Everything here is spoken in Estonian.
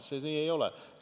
See nii ei ole.